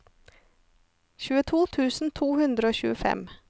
tjueto tusen to hundre og tjuefem